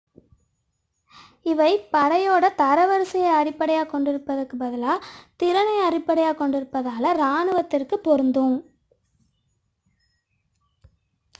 இவை படையின் தரவரிசையை அடிப்படையாகக் கொண்டிருப்பதற்குப் பதிலாக திறனை அடிப்படையாகக் கொண்டிருப்பதால் இராணுவத்திற்கும் பொருந்தும்